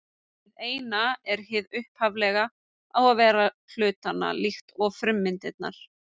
Hið eina er hið upphaflega og vera hlutanna, líkt og frummyndirnar.